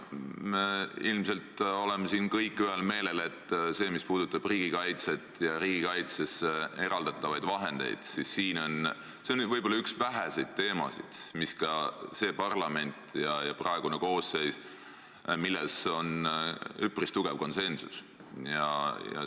Me ilmselt oleme siin kõik ühel meelel, et see, mis puudutab riigikaitset ja riigikaitsele eraldatavaid vahendeid, on võib-olla üks väheseid teemasid, kus ka selles parlamendikoosseisus on üpris tugev konsensus.